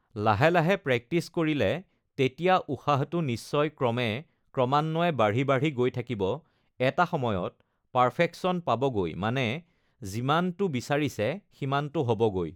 লাহে লাহে প্ৰেক্টিছ কৰিলে তেতিয়া উশাহটো নিশ্চয় ক্ৰমে ক্ৰমান্বয়ে বাঢ়ি বাঢ়ি গৈ থাকিব এটা সময়ত পাৰ্ফেকচন পাবগৈ মানে যিমানটো বিচাৰিছে সিমানটো হ'বগৈ